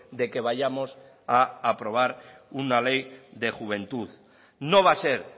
de que vayamos a aprobar una ley de juventud no va a ser